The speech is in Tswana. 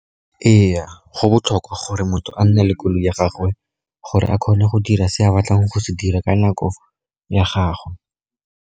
Ee, go botlhokwa gore motho a nne le koloi ya gagwe, gore a kgone go dira se a batlang go se dira ka nako ya gagwe.